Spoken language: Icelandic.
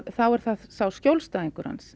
þá er það skjólstæðingur hans